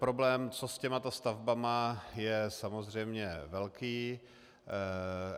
Problém, co s těmito stavbami, je samozřejmě velký.